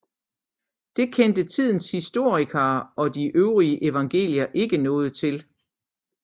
Det kendte tidens historikere og de øvrige evangelier ikke noget til